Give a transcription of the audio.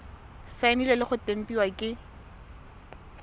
saenilwe le go tempiwa ke